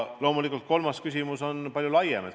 Loomulikult, kolmas küsimus on palju laiem.